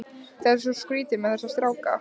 Það er svo skrýtið með þessa stráka.